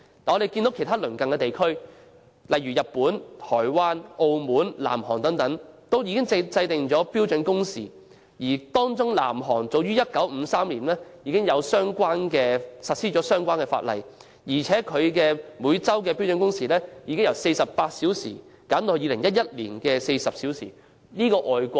反觀其他鄰近地區，如日本、台灣、澳門和南韓等均已制定標準工時，當中南韓早於1953年已實施相關法例，每周標準工時更由48小時減至2011年的40小時。